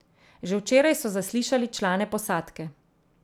Že včeraj so zaslišali člane posadke.